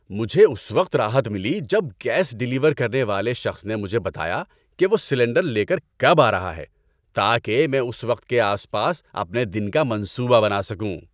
مجھے اس وقت راحت ملی جب گیس ڈیلیور کرنے والے شخص نے مجھے بتایا کہ وہ سلنڈر لے کر کب آ رہا ہے، تاکہ میں اس وقت کے آس پاس اپنے دن کا منصوبہ بنا سکوں۔